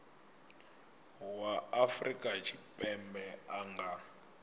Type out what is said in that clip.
wa afrika tshipembe a nga